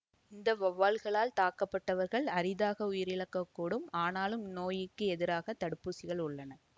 இந்த வௌவால்களால் தாக்கப்பட்டவர்கள் அரிதாக உயிரிழக்கக்கூடும் ஆனாலும் இந்நோயிற்கு எதிராக தடுப்பூசிகள் உள்ளன